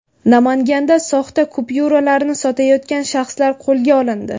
Namanganda soxta kupyuralarni sotayotgan shaxslar qo‘lga olindi.